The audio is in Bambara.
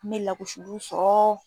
N me lagosiliw sɔrɔ